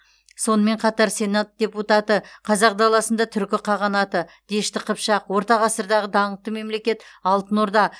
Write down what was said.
сонымен қатар сенат депутаты қазақ даласында түркі қағанаты дешті қыпшақ орта ғасырдағы даңқты мемлекет алтын орда